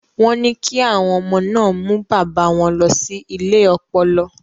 Wọ́n ní kí àwọn ọmọ náà mú bàbá wọn lọ sí ilé ọpọlọ.